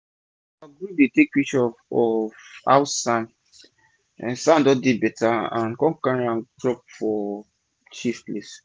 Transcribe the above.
our group dey take pictures of how san-san don dey beta and con cari am drop for chief palace.